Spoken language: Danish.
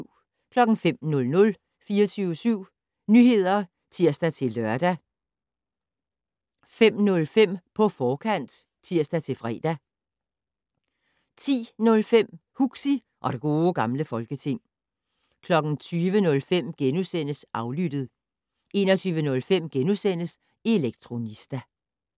05:00: 24syv Nyheder (tir-lør) 05:05: På forkant (tir-fre) 10:05: Huxi og det Gode Gamle Folketing 20:05: Aflyttet * 21:05: Elektronista *